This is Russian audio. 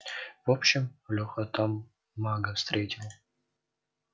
в общем лёха там мага встретил